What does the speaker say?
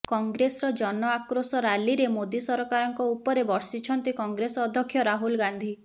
କଂଗ୍ରେସର ଜନ ଆକ୍ରୋଶ ରାଲିରେ ମୋଦି ସରକାରଙ୍କ ଉପରେ ବର୍ଷିଛନ୍ତି କଂଗ୍ରେସ ଅଧ୍ୟକ୍ଷ ରାହୁଲ ଗାନ୍ଧୀ